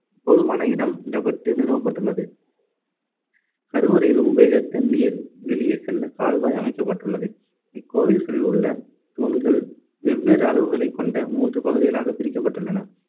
போதுமான இடம் விடப்பட்டு நிறுவப்பட்டுள்ளது கருவறையில் உபயோகித்த நீர் வெளியே செல்ல கால்வாய் அமைக்கப்பட்டுள்ளது. இக்கோவில்களில் உள்ள தூண்கள் வெவ்வேறு அளவுகளைக் கொண்ட மூன்று பகுதிகளாகப் பிரிக்கப்பட்டுள்ளன.